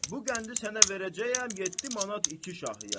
Bu qəndi sənə verəcəyəm yeddi manat iki şahıya.